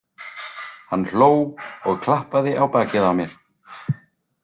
Hann hló og klappaði á bakið á mér.